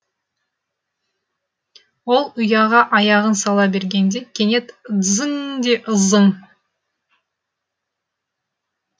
ол ұяға аяғын сала бергенде кенет ызың ң ң де ызың ң